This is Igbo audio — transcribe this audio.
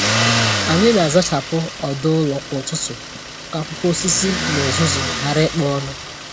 Ànyị na-azachapụ ọdụ ụlọ kwa ụtụtụ ka akwụkwọ osisi na uzuzu ghara ịkpo ọnụ.